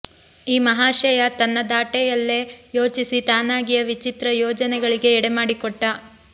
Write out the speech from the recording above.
ಈ ಮಾಹಾಶಯ ತನ್ನ ದಾಟಿಯಲ್ಲೆ ಯೋಚಿಸಿ ತಾನಾಗಿಯೆ ವಿಚಿತ್ರ ಯೋಚನೆಗಳಿಗೆ ಎಡಮಾಡಿಕೊಟ್ಟ